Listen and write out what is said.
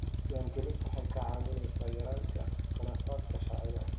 Diiwaangelintu waxay kaa caawinaysaa yaraynta khilaafaadka sharciga ah.